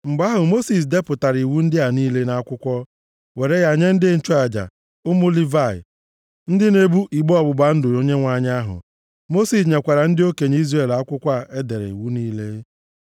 Mgbe ahụ, Mosis depụtara iwu ndị ahụ niile nʼakwụkwọ, were ya nye ndị nchụaja, ụmụ Livayị, ndị na-ebu igbe ọgbụgba ndụ Onyenwe anyị ahụ. Mosis nyekwara ndị okenye Izrel akwụkwọ a e dere iwu niile.